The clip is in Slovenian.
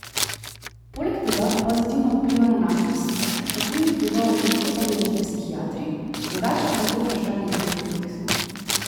Poleg tega pozitivno vpliva na našo psiho, o tem vedo veliko povedati psihiatri, drugače pa je to vprašanje zelo kompleksno.